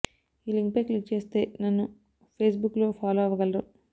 ఈ లింక్ పై క్లిక్ చేస్తే నన్ను ఫేస్ బుక్ లో ఫాలో అవగలరు